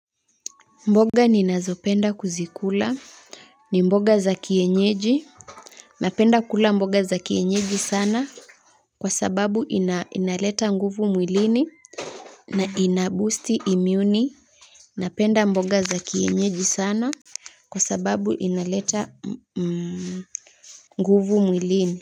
Mboga ninazopenda kuzikula. Ni mboga za kienyeji. Napenda kula mboga za kienyeji sana kwa sababu inaleta nguvu mwilini na inaboosti imuni. Napenda mboga za kienyeji sana kwa sababu inaleta nguvu mwilini.